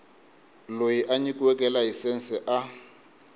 loyi a nyikiweke layisense a